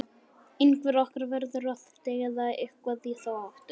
Einhver okkar verður að deyja, eða eitthvað í þá áttina